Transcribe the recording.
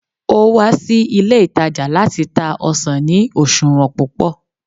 o wa sí ilé itaja lati ta ọsàn ni oṣuwọn púpò